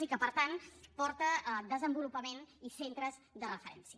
i per tant porta desenvolupament i centres de referència